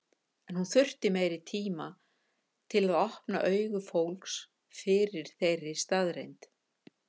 En hún þurfti meiri tíma til að opna augu fólks fyrir þeirri staðreynd.